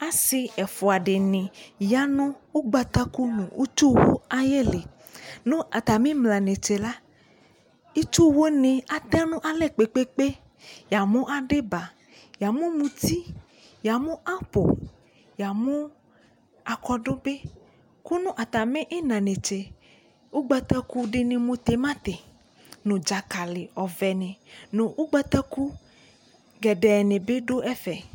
Asi ɛfua dini ya nu ugbataku nu utsu ayi liNu ata mi mla netse la, itsu wu ni atɛ nu alɛ kpekpekpeYamu adiba, yamu muti, yamu apo, yamu akɔdu bi, kunu atami ina netse ugbataku dini mu timati nu dzakali ɔvɛ ni nu ugbataku gedee ne bi du ɛfɛ